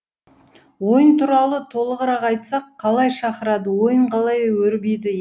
ойын туралы толығырақ айтсақ қалай шақырады ойын қалай өрбиді